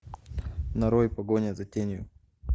нарой погоня за тенью